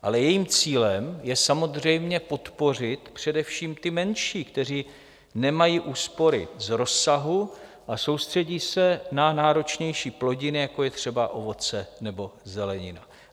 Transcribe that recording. Ale jejím cílem je samozřejmě podpořit především ty menší, kteří nemají úspory z rozsahu a soustředí se na náročnější plodiny, jako je třeba ovoce nebo zelenina.